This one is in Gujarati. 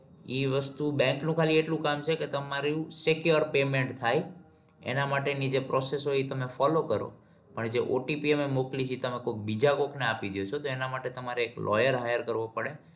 ઈ વસ્તુ bank નું એટલું કામ છે કે તમારું secure payment થાય એના માટે ની જે process હોય ઇ તમે follow કરો પણ OTP મોકલી તી તે તમે કોઈ બીજા કોક ને આપીદો છો તો એના માટે તમારે એક lawyer hire કેરવો પડે